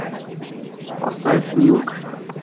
поставь милк